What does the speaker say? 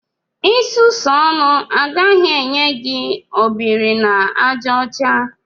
Isusu ọnụ agaghị enye gị obiri-na-aja ocha